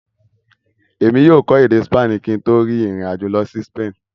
Èmi yóò kò èdè Spani kí n tó rin ìrìn àjò lọ si Spain.